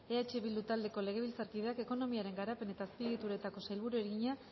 eh bildu taldeko legebiltzarkideak ekonomiaren garapen eta azpiegituretako sailburuari egina